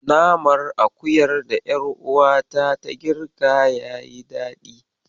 Naman akuyar da ƴaruwata ta girka yayi daɗi.